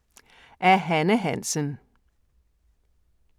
Af Hanne Hansen